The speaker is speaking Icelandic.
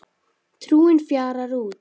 Trúin fjarar út